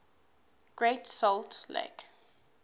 great salt lake